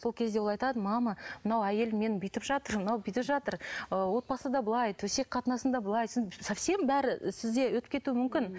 сол кезде ол айтады мама мына әйел мені бүйтіп жатыр мынау бүйтіп жатыр ы отбасыда былай төсек қатынасында былай совсем бәрі сізде өтіп кетуі мүмкін